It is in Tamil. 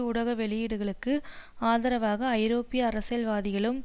ஊடக வெளியீடுகளுக்கு ஆதரவாக ஐரோப்பிய அரசியல்வாதிகளிலும்